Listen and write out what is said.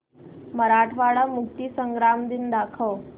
मराठवाडा मुक्तीसंग्राम दिन दाखव